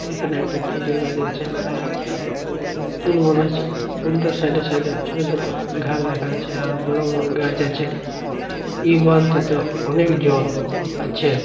এখানে একটা খেজুর গাছ আছে আর একটা পুল বানা আছেপুল -টার সাইড এ সাইড এ ছোট ছোট ঘর দেখা যাচ্ছে আর বড় বড় গাছ আছে এই বাঁধ টা তে অনেক জল আছে।